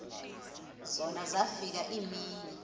zona zafika iimini